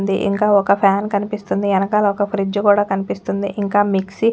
ఇంకా ఒక్క ఫాన్ కనిపిస్తుంది ఎనకాల ఒక్క ఫ్రిడ్జ్ కూడా కనిపిస్తుంది ఇంకా మిక్సి .